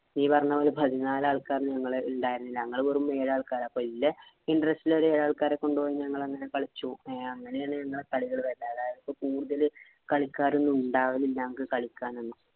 നീ പറഞ്ഞപോലെ പതിന്നാല് ആള്‍ക്കാര് ഞങ്ങള് ഉണ്ടായിരുന്നില്ല. ഞങ്ങള് വെറും ഏഴ് ആള്‍ക്കാര്. അപ്പൊ ഇല്ലേ interest ഉള്ള ഏഴ് ആള്‍ക്കാരെ കൊണ്ട് പോയി ഞങ്ങളങ്ങനെ കളിച്ചു. അങ്ങനെയാണ് ഞങ്ങടെ കളികള്. അതായത് ഇപ്പൊ കൂടുതല് കളിക്കാരൊന്നും ഉണ്ടാവുന്നില്ല ഞങ്ങള്‍ക്ക് കളിക്കാനൊന്നും.